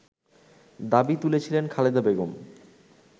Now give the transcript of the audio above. দাবি তুলেছিলেন খালেদা বেগম